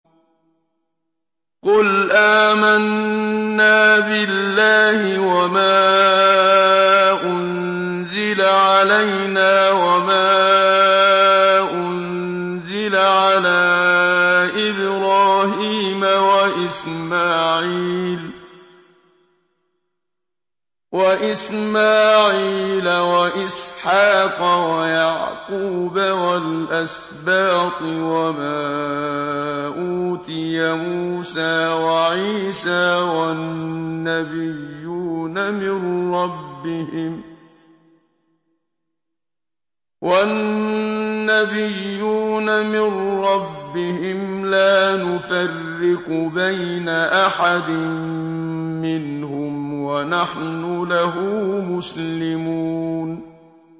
قُلْ آمَنَّا بِاللَّهِ وَمَا أُنزِلَ عَلَيْنَا وَمَا أُنزِلَ عَلَىٰ إِبْرَاهِيمَ وَإِسْمَاعِيلَ وَإِسْحَاقَ وَيَعْقُوبَ وَالْأَسْبَاطِ وَمَا أُوتِيَ مُوسَىٰ وَعِيسَىٰ وَالنَّبِيُّونَ مِن رَّبِّهِمْ لَا نُفَرِّقُ بَيْنَ أَحَدٍ مِّنْهُمْ وَنَحْنُ لَهُ مُسْلِمُونَ